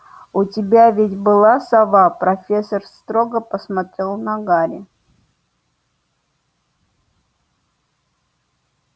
у тебя ведь была сова профессор строго посмотрела на гарри